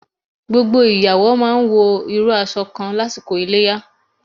Gbogbo ìyàwó máa wọ irú aṣọ kan lásìkò Iléyá.